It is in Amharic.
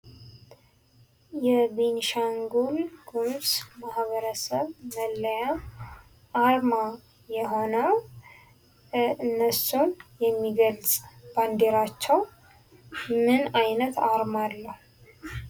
የቤንሻንጉልጉሙዝ ማህበረሰብ መለያ አርማ የሆነው ፤ እነሱን የሚገልጽ ባንዲራቸው ምን አይነት አርማ አለው?